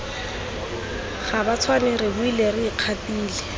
gabatshwane re boile re ikgatile